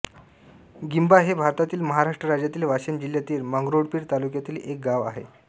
गिंभा हे भारतातील महाराष्ट्र राज्यातील वाशिम जिल्ह्यातील मंगरुळपीर तालुक्यातील एक गाव आहे